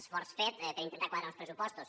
esforç fet per intentar quadrar uns pressupostos